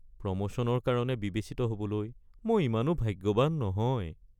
প্ৰমোশ্যনৰ কাৰণে বিবেচিত হ'বলৈ মই ইমানো ভাগ্যৱান নহয়। (কৰ্মচাৰী ২)